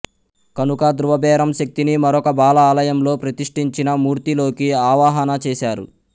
కనుక ధృవబేరం శక్తిని మరొక బాల ఆలయంలో ప్రతిష్టించిన మూర్తిలోకి ఆవాహన చేశారు